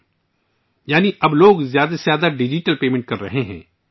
اس کا مطلب ہے کہ لوگ اب زیادہ سے زیادہ ڈیجیٹل ادائیگیاں کر رہے ہیں